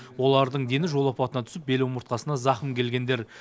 олардың дені жол апатына түсіп беломыртқасына зақым келгендер